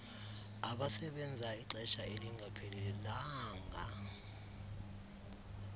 abasebenza ixesha elingaphelelanga